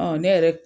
ne yɛrɛ